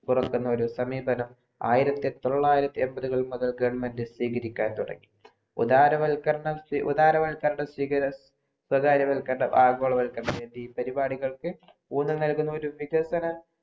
പുറത്തു നിന്നുള്ള സമീപനം ആയിരത്തി തൊള്ളായിരത്തി എമ്പതുകൾ മുതൽ government സ്വീകരിക്കാൻ തുടങ്ങി ഉദാര വത്കരണം സ്വകാര വത്കരണം ആഗോള വത്കരണം എന്നീ പരിവാടികൾക്കു ഊനം നൽകുന്ന ഒരു വികസന